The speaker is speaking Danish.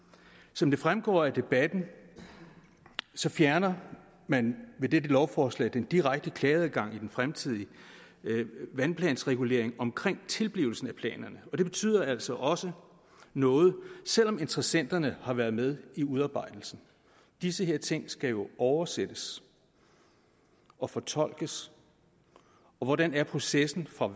som det fremgår af debatten fjerner man ved dette lovforslag den direkte klageadgang i den fremtidige vandplansregulering omkring tilblivelsen af planerne og det betyder altså også noget selv om interessenterne har været med i udarbejdelsen disse her ting skal jo oversættes og fortolkes og hvordan er processen for